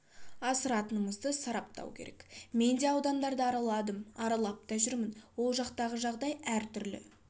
асыратынымызды сараптау керек мен де аудандарды араладым аралап та жүрмін ол жақтағы жағдай әр түрлі